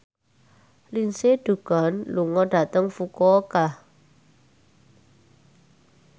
Lindsay Ducan lunga dhateng Fukuoka